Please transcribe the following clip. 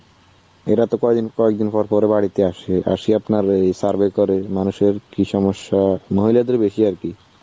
এরা তো কয়দিন কয়দিন পর পর বাড়িতে আসে. আসি আপনার এই survey করে. মানুষের কি সমস্যা, মহিলাদের বেশি আর কি.